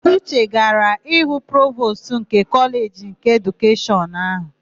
Uche gara hụ Provostu ndị Kọleji nke Edukeshọn áhụ̀.